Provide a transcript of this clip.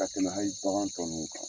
Ka tɛmɛ hali bagan tɔ ninnu kan.